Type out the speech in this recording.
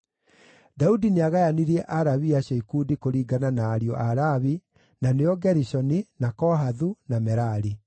Daudi nĩagayanirie Alawii acio ikundi kũringana na ariũ a Lawi na nĩo Gerishoni, na Kohathu, na Merari.